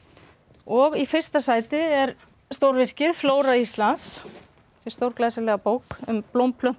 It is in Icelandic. og í fyrsta sæti er stórvirkið flóra Íslands þessi stórglæsilega bók um blóm plöntur